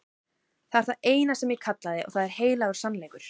Það er það eina sem ég kallaði og það er heilagur sannleikur.